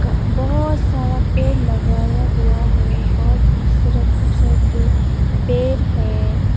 बहुत सारा पेड़ लगाया हुआ है बहुत खूबसूरत खूबसूरत से पेड़ है।